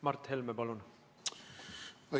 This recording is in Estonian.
Mart Helme, palun!